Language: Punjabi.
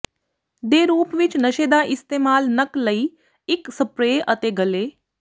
ਦੇ ਰੂਪ ਵਿਚ ਨਸ਼ੇ ਦਾ ਇਸਤੇਮਾਲ ਨੱਕ ਲਈ ਇੱਕ ਸਪਰੇਅ ਅਤੇ ਗਲ਼ੇ